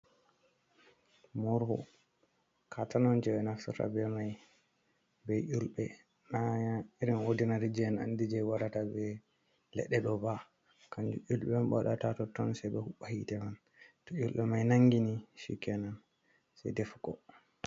Morhu Katene on je ɓenaftirta be mai be yulbe na irin odinari je en'andira je warata be ledɗe ɗoba, kanju yulbe on ɓewadata totton sai ɓe hobɓa hite man to yulbe mai nangini shikenan sai ɗefugo.